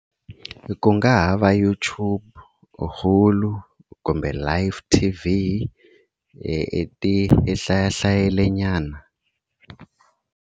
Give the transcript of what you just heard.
Ku nga ha va YouTube, kumbe Life T_V ti hlaya hlayilenyana.